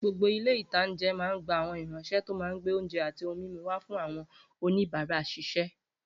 Gbogbo ilé-ìtánjẹ máa n gba àwọn ìránsẹ́ tó máa gbé oúnjẹ àti ohun mímu wà fún àwọn oníbàárà ṣiṣẹ́